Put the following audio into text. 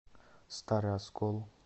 старый оскол